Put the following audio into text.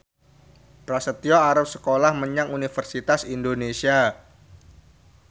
Prasetyo arep sekolah menyang Universitas Indonesia